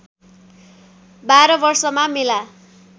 १२ वर्षमा मेला